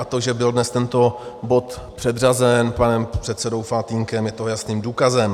A to, že byl dnes tento bod předřazen panem předsedou Faltýnkem, je toho jasným důkazem.